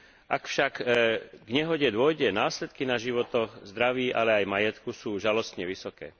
Ak však k nehode dôjde následky na životoch, zdraví ale aj majetku sú žalostne vysoké.